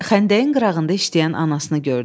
xəndəyin qırağında işləyən anasını gördü.